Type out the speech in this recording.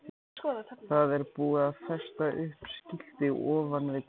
Það var búið að festa upp skilti ofan við dyrnar.